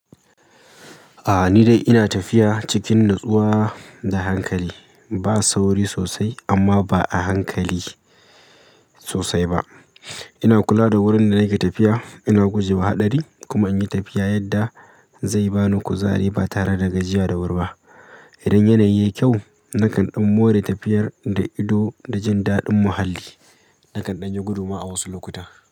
A'a ni dai ina tafiya cikin natsuwa da hankali. Ba sauri sosai amma ba a hankali sosai ba. Ina kula da wurin da nake tafiya, ina guje wa haɗari kuma in yi tafiya yadda zai bani kuzari ba tare da gajiya da wuri ba. Idan yanayi yayi kyau nakan ɗan more tafiyar da ido da jin daɗin muhalli. Nakan ɗan yi gudu ma a wasu lokuta.